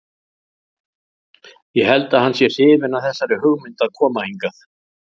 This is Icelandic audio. Ég held að hann sé hrifinn af þessari hugmynd að koma hingað.